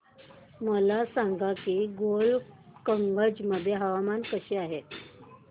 मला सांगा की गोलकगंज मध्ये हवामान कसे आहे